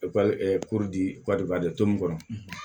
kɔnɔ